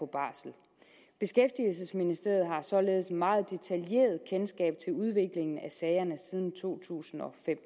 barsel beskæftigelsesministeriet har således meget detaljeret kendskab til udviklingen af sagerne siden to tusind og fem